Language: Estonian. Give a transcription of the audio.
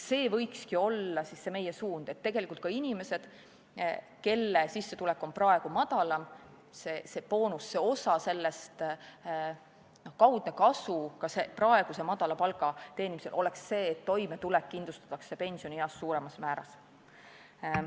See võikski olla meie suund, et ka inimestel, kelle sissetulek on praegu väiksem, see boonus, osa sellest, kaudne kasu ka praeguse madala palga teenimisel oleks see, et toimetulek kindlustatakse pensionieas suuremas määras.